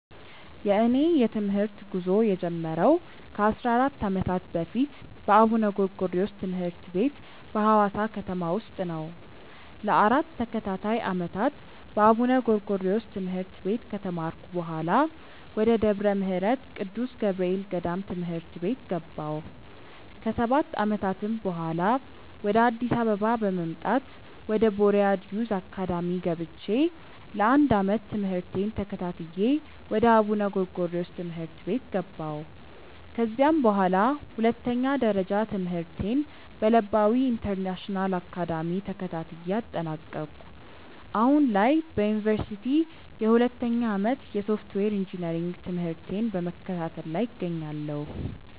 የእኔ የትምህርት ጉዞ የጀመረው ከ 14 ዓመታት በፊት በአቡነ ጎርጎሪዎስ ትምህርት ቤት በሀዋሳ ከተማ ውስጥ ነው። ለ 4 ተከታታይ ዓመታት በአቡነ ጎርጎሪዮስ ትምህርት ቤት ከተማርኩ በኃላ፣ ወደ ደብረ ምህረት ቅዱስ ገብርኤል ገዳም ትምህርት ቤት ገባሁ። ከ 7 ዓመታትም በኃላ፣ ወደ አዲስ አበባ በመምጣት ወደ ቦርያድ ዮዝ አካዳሚ ገብቼ ለ 1 ዓመት ትምህርቴን ተከታትዬ ወደ አቡነ ጎርጎሪዮስ ትምህርት ቤት ገባሁ። ከዚያም በኃላ ሁለተኛ ደረጃ ትምህርቴን በለባዊ ኢንተርናሽናል አካዳሚ ተከታትዬ አጠናቀኩ። አሁን ላይ በዮኒቨርሲቲ የሁለተኛ ዓመት የሶፍትዌር ኢንጂነሪንግ ትምህርቴን በመከታተል ላይ እገኛለሁ።